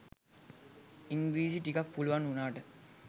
ඉංග්‍රිරිසි ටිකක් පුලුවන් උනාට